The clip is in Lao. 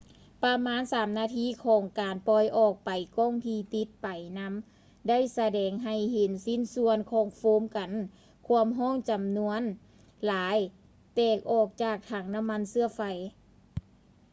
ປະມານ 3 ນາທີຂອງການປ່ອຍອອກໄປ ກ້ອງທີ່ຕິດໄປນຳໄດ້ສະແດງໃຫ້ເຫັນຊິ້ນສ່ວນຂອງໂຟມກັນຄວາມຮ້ອນຈຳນວນຫຼາຍແຕກອອກຈາກຖັງນ້ຳມັນເຊື້ອໄຟ